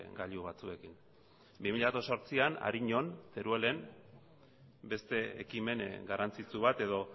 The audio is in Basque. gailu batzuekin bi mila zortzian ariñon teruelen beste ekimen garrantzitsu bat edo